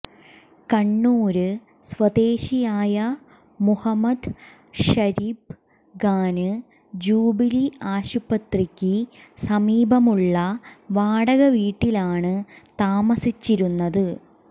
കണ്ണൂര് സ്വദേശിയായ മുഹമ്മദ് ഷരീബ് ഖാന് ജൂബിലി ആസ്പത്രിക്ക് സമീപമുള്ള വാടകവീട്ടിലാണ് താമസിച്ചിരുന്നത്